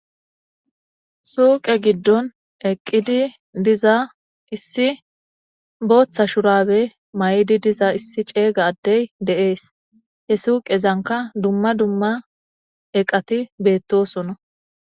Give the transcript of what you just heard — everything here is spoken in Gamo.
Suuqe giddon eqqidi diza issi booththa shurabe may7di diza issi ceeyga addey deees he suuqezanka dumma dumma eqati beettosona.